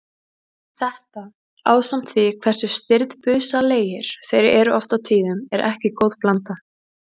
Þetta ásamt því hversu stirðbusalegir þeir eru oft á tíðum er ekki góð blanda.